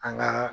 An ka